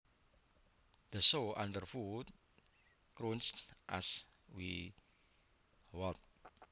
The snow underfoot crunched as we walked